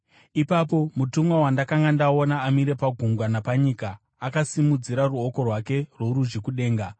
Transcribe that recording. Ipapo mutumwa wandakanga ndaona amire pagungwa napanyika akasimudzira ruoko rwake rworudyi kudenga.